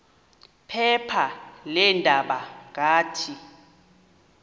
phepha leendaba ngathi